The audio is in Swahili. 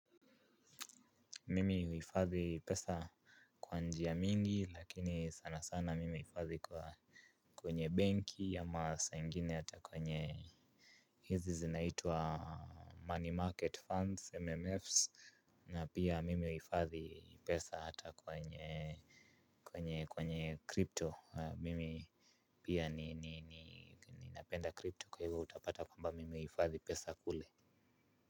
Mimi huifadhi pesa kwa njia mingi lakini sana sana mimi huifadhi kwa kwenye banki ama saa ingine hata kwenye hizi zinaitwa money market funds MMFs Na pia mimi huifadhi pesa hata kwenye kwenye kwenye crypto mimi. Pia ninapenda crypto kwa hivyo utapata kwamba mimi huifadhi pesa kule.